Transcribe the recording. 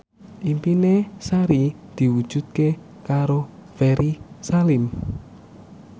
impine Sari diwujudke karo Ferry Salim